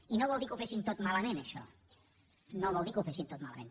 i no vol dir que ho fessin tot malament això no vol dir que ho fessin tot malament